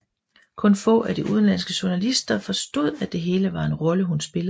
Kun få af de udenlandske journalister forstod at det hele var en rolle hun spillede